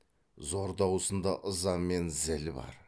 зор даусында ыза мен зіл бар